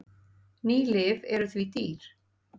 Ný lyf eru því dýr.